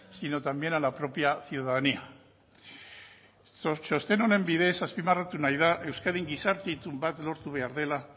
sino también a la propia ciudadanía txosten honen bidez azpimarratu nahi da euskadin gizarte itun bat lortu behar dela